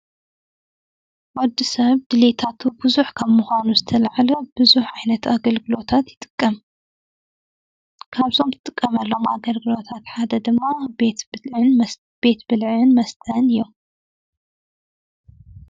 ወድሰብ ድሌታቱ ብዙሕ ካብ ምዃኑ ዝተልዓለ ብዙሕ ዓይነት ኣገልግሎታት ይጥቀም። ካብዞም ዝጥቀመሎም ኣገልግሎታት ሓደ ድማ ቤት ብልዕን መስተን እዩ ።